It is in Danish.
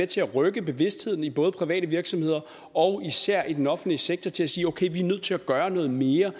til at rykke bevidstheden i både private virksomheder og især i den offentlige sektor til at sige okay vi er nødt til at gøre noget mere